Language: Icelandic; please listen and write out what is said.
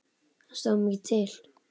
Það stóð mikið til.